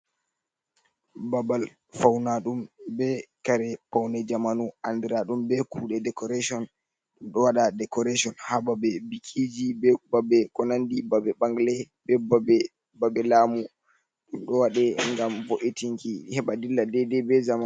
Babal fawnaɗum be kare pawne zamanu andiraɗum be kuɗe decoration. Ɗo waɗa decoration ha babe bikiji be babe ko nandi babe ɓangle be babe lamu. Ɗum ɗo waɗe ngam bo’etinki heɓa dilla dede bezaama.